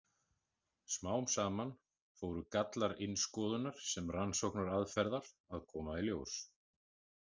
Smám saman fóru gallar innskoðunar sem rannsóknaraðferðar að koma í ljós.